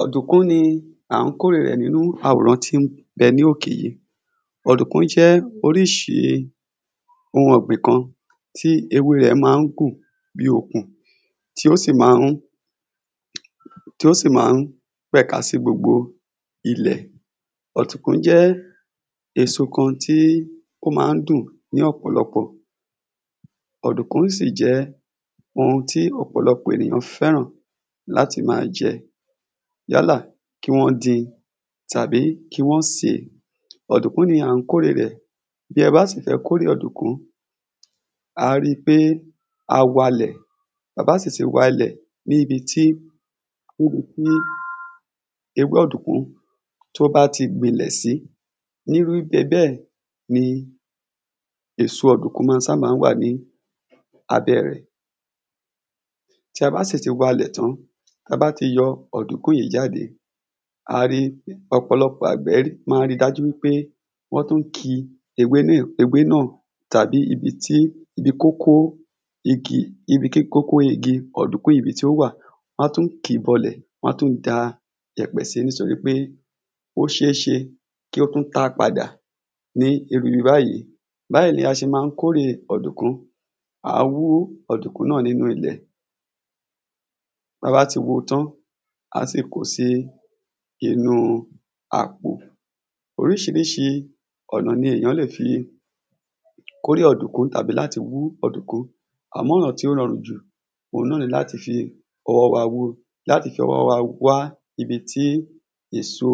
ọ̀dùnkùn ni à ń kóre rẹ̀ ní awòrán tí ń bẹ ní òkè yí ọ̀dùnkùn jẹ́ oríṣi ohun ọ̀gbin kan ohun ọ̀gbin kan bí okùn tí ó sì ma ń tí ó sì ma ń pẹ̀ka sí gbogbo ilẹ̀ ọ̀dùnkùn jẹ́ èso kan tí ó ma ń dùn ní ọ̀pọ̀lọpọ̀ ọ̀dùnkùn sì jẹ́ ohun tí ọ̀pọ̀lọpọ̀ ẹ̀nìyàn fẹ́ràn láti ma jẹ yálà kí wọ́n din tàbí kí wọ́n sèé ọ̀dùnkùn ni à ń kóre rẹ̀ bí ẹ bá sì fẹ́ kóre ọ̀dùnkùn á ri pé a wa lẹ̀ ta bá sì ti wa lẹ̀ nibi tí ewé ọ̀dùnkùn tó bá ti gbìlẹ̀ sí ní wípé bẹ́ẹ̀ ní èso ọ̀dùnkùn ma ́ sábà wà ní abẹ́ rẹ̀ tí a bá sì ti wa lẹ̀ tán ta bá ti yọ ọ̀dùnkùn yí jáde ọ̀pọ̀lọpọ̀ àgbẹ̀ ma ri dájú wípé wọ́n tún ki ewé náà tàbí ibi tí ibi kókó igi ibi ki kókó igi ọ̀dùnkùn yí ibi tí ó wà wọ́n tún kìí bọlẹ̀ wọ́n tún da ìyẹ́pẹ̀ sí nítori pe ó ṣeeṣe kí ó tún ta padà ní ibi báyí báyí la ṣe ma ń kórè ọ̀dùnkùn a wú ọ̀dùnkùn náà nínú ilẹ̀ ba bá ti wu tán á sì ko sí inú àpò oríṣiríṣi ọ̀nà ni ìyàn lè fi kóre ọ̀dùnkùn àbí láti wú ọ̀dùnkùn àmọ́ ọ̀nà tí ó rọrùn jù òun náà ni láti fi ọwọ́ wa wú láti fi ọwọ́ wa wá ibi tí èso